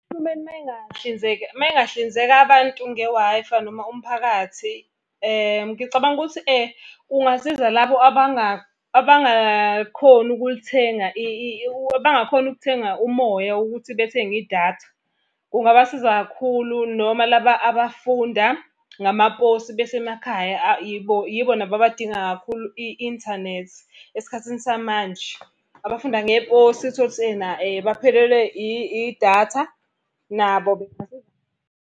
Uhulumeni uma engahlinzeka uma engahlinzeka abantu nge-Wi-Fi noma umphakathi. Ngicabanga ukuthi kungasiza labo abangakhoni ukulithenga abangakhoni ukuthenga umoya ukuthi bethenge idatha. Kungabasiza kakhulu noma laba abafunda ngamaposi besemakhaya yibo nabo abadinga kakhulu i-inthanethi esikhathini samanje. Abafunda ngeposi uthole ukuthi ena baphelelwe idatha nabo.